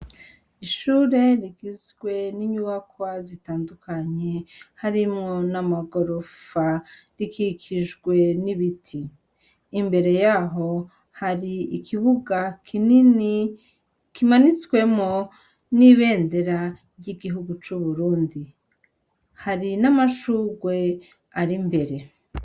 Ishure rigizwe n'inyubakwa zitandukanye harimwo n'amagorofa, rikikijwe n'ibiti. Imbere y'aho, hari ikibuga kinini kimanitswemwo n'ibendera ry'igihugu c'Uburundi. Hari n'amashugwe ari imbere.